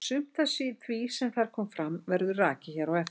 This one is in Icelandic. Sumt af því sem þar kom fram verður rakið hér á eftir.